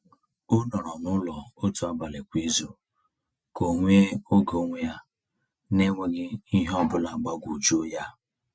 O nọrọ n’ụlọ otu abalị kwa izu ka o nwee oge onwe ya n’enweghị ihe ọ bụla gbagwojuo ya.